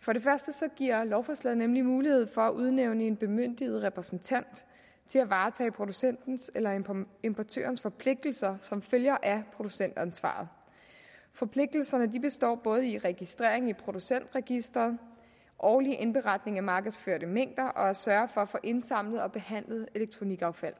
for det første giver lovforslaget nemlig mulighed for at udnævne en bemyndiget repræsentant til at varetage producentens eller importørens forpligtelser som følger af producentansvaret forpligtelserne består i både registrering i producentregisteret årlig indberetning af markedsførte mængder og i at sørge for at få indsamlet og behandlet elektronikaffald